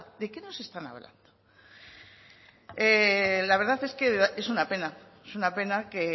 de qué nos están hablando la verdad es que es una pena es una pena que